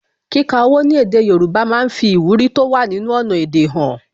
Kíka owó ní èdè Yorùbá máa ń fi ìwúrí tó wà nínú ọnà èdè han